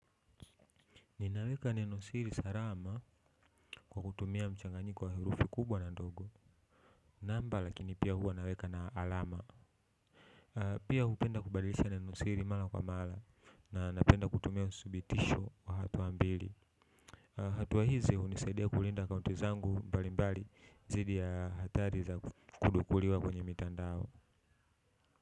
Ninaweka neno siri salama kwa kutumia mchanganyiko wa herufi kubwa na ndogo. Pia hupenda kubadilisha neno siri mara kwa mara na napenda kutumia usubitisho kwa hatuwa mbili. Hatuwa hizi hunisaidia kulinda akaunti zangu mbali mbali dhidi ya hatari za kudukuliwa kwenye mitandao.